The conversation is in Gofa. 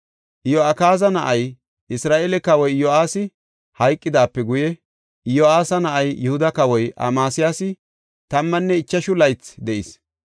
Iyo7akaaza na7ay, Isra7eele kawoy Iyo7aasi hayqidaape guye Iyo7aasa na7ay, Yihuda kawoy Amasiyaasi tammanne ichashu laythi de7is.